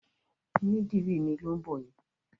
Onídìrí mi ló ń bọ̀ yẹn.